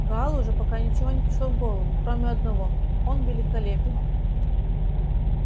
гаалу же пока ничего не пришло в голову кроме одного он великолепен